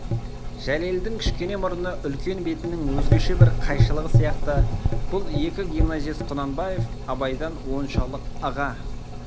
жәлелдің кішкене мұрны үлкен бетінің өзгеше бір қайшылығы сияқты бұл екі гимназист құнанбаев абайдан оншалық ыға